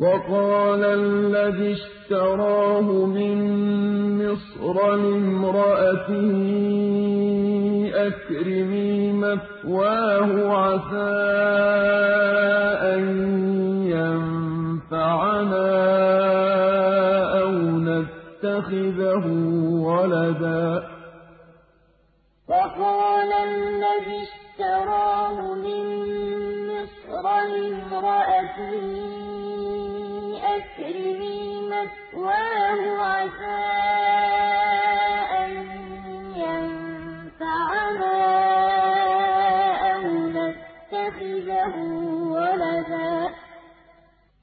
وَقَالَ الَّذِي اشْتَرَاهُ مِن مِّصْرَ لِامْرَأَتِهِ أَكْرِمِي مَثْوَاهُ عَسَىٰ أَن يَنفَعَنَا أَوْ نَتَّخِذَهُ وَلَدًا ۚ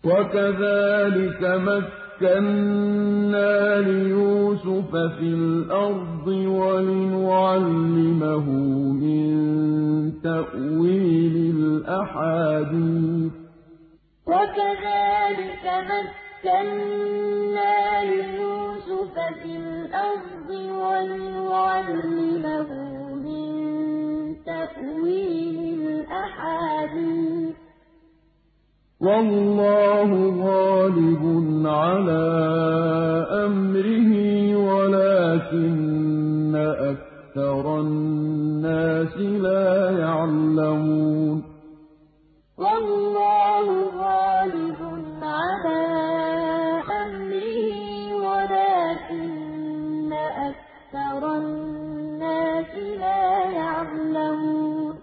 وَكَذَٰلِكَ مَكَّنَّا لِيُوسُفَ فِي الْأَرْضِ وَلِنُعَلِّمَهُ مِن تَأْوِيلِ الْأَحَادِيثِ ۚ وَاللَّهُ غَالِبٌ عَلَىٰ أَمْرِهِ وَلَٰكِنَّ أَكْثَرَ النَّاسِ لَا يَعْلَمُونَ وَقَالَ الَّذِي اشْتَرَاهُ مِن مِّصْرَ لِامْرَأَتِهِ أَكْرِمِي مَثْوَاهُ عَسَىٰ أَن يَنفَعَنَا أَوْ نَتَّخِذَهُ وَلَدًا ۚ وَكَذَٰلِكَ مَكَّنَّا لِيُوسُفَ فِي الْأَرْضِ وَلِنُعَلِّمَهُ مِن تَأْوِيلِ الْأَحَادِيثِ ۚ وَاللَّهُ غَالِبٌ عَلَىٰ أَمْرِهِ وَلَٰكِنَّ أَكْثَرَ النَّاسِ لَا يَعْلَمُونَ